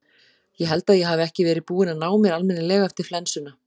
Ég held að ég hafi ekki verið búinn að ná mér almennilega eftir flensuna.